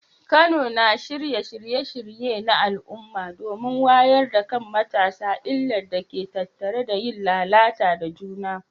Kano na shirya shirye-shirye na al’umma domin wayar da kan matasa illar da ke tattare da yin lalata da juna.